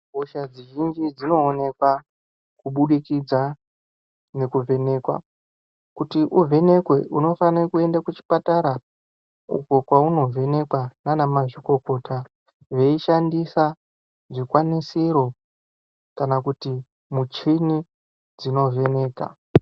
Hosha dzizhinji dzinoonekwa kubudikidza nekuvhenekwa. Kuti uvhenekwe, unofane kuende kuchipatara uko kwaunovhenekwa nanamazvikokota, veishandisa zvikwanisiro kana kuti muchini dzinovheneka.